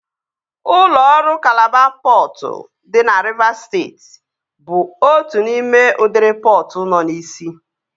Ụlọ ọrụ Kalaba pọtụ dị na Rivas steeti bụ otu n'ime udiri pọtụ nọ n'isi